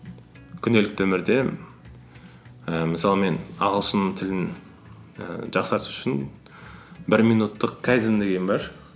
күнделікті өмірде і мысалы мен ағылшын тілін ііі жақсарту үшін бір минуттық кайдзен деген бар